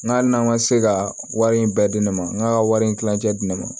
N ka hali n'an ka se ka wari in bɛɛ di ne ma n ka wari in tilancɛ di ne ma